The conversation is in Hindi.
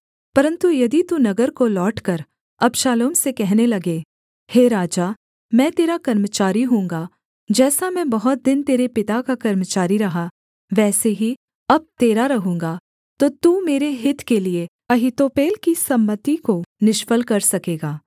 परन्तु यदि तू नगर को लौटकर अबशालोम से कहने लगे हे राजा मैं तेरा कर्मचारी होऊँगा जैसा मैं बहुत दिन तेरे पिता का कर्मचारी रहा वैसे ही अब तेरा रहूँगा तो तू मेरे हित के लिये अहीतोपेल की सम्मति को निष्फल कर सकेगा